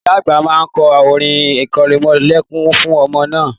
Ìyá àgbà ma kọ orin irẹmọlẹ́kún fún ọmọ náà